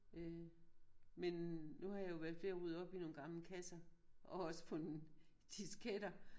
Øh men nu har jeg jo været ved at rydde op i nogle gamle kasser og også fundet disketter